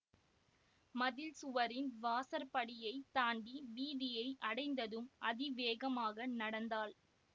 மதில் சுவரின் வாசற்படியைத் தாண்டி வீதியை அடைந்ததும் அதிவேகமாக நடந்தாள்